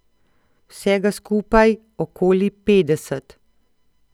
Vsega skupaj okoli petdeset.